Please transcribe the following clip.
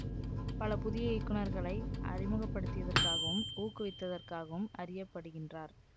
பல புதிய இயக்குநர்களை அறிமுகப்படுத்தியதற்காகவும் ஊக்குவித்ததற்காகவும் அறிய படுகின்றார்